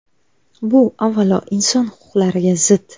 Bu, avvalo, inson huquqlariga zid.